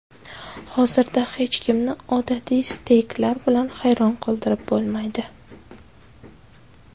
Hozirda hech kimni odatiy steyklar bilan hayron qoldirib bo‘lmaydi.